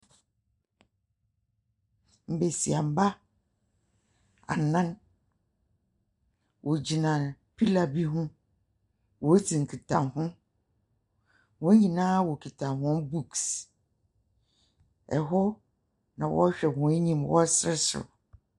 Mbesiamba anan wogyina pillar bi ho woridzi nkitaho. Hɔn nyinaa wokita hɔn books. Ɛhɔ na wɔrehwɛ hɔn eyim wɔresereserew.